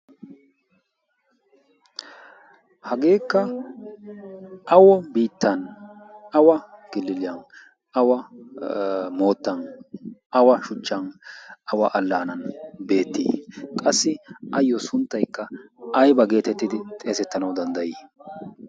hageekka awo biittan awa giliiliyan awa moottan awa shuchchan awa allaanan beettii qassi ayyo sunttaykka ayba geetettidi xeesettanay danddayii